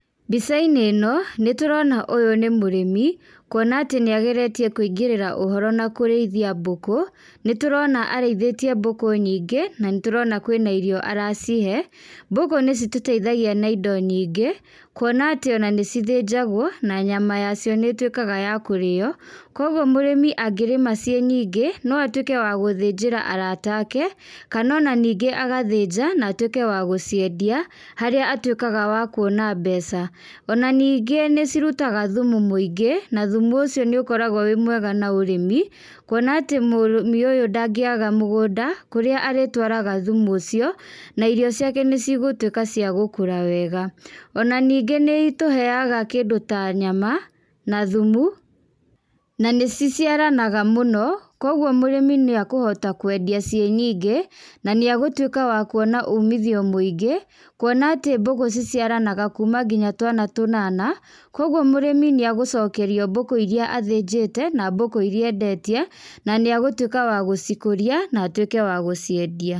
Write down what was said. Mbica-inĩ ĩno, nĩtũrona ũyũ nĩ mũrĩmi, kuona atĩ nĩageretie kũingĩrĩra ũhoro na kũrĩithia mbũkũ, nĩtũrona arĩithĩtie mbũkũ nyingĩ, nanĩtũrona kwĩna irio aracihe, mbũkũ nĩcitũteithagia na indo nyingĩ, kuona atĩ ona nĩcithĩnjagwo na nyama yacio nĩtwĩkaga ya kũrĩo, koguo mũrĩmi angĩrĩma ciĩ nyingĩ, noatwĩke wa gũthĩnjĩra arata ake, kanona ningĩ agathĩnja, na atwĩke wa gũciendia, harĩa atwĩkaga wa kuona mbeca, ona ningĩ nĩcirutaga thumu mũingĩ, na thumu ũcio nĩũkoragwo ũrĩ mwega na ũrĩmi, kuona atĩ mũrĩmi ũyũ ndangĩaga mũgũnda, kũrĩa arĩtwaraga thumu ũcio, na irio ciake nĩcigũtwĩka cia gũkũra wega, ona ningĩ nĩitũheaga kĩndũ ta nyama, na thumu, nanĩciciaranaga mũno, koguo mũrĩmi nĩakũhota kwendia ciĩ nyingĩ, nanĩegũtwĩka wa kuona umithio mũingĩ, kuona atĩ mbũkũ ciciaranaga kuma nginya atĩ twana tũnana, koguo mũrĩmi nĩagũcokerio mbũkũ iria athĩnjĩte, na mbũkũ iria endetie, nanĩegũtwĩka wa gũcikũria, na atwĩke wa gũciendia.